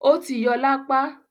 ó ti yọ lápá.